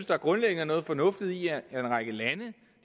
der grundlæggende er noget fornuftigt i at en række lande